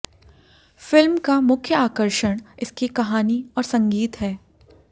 film का मुख्य आकर्षण इसकी कहानी और संगीत है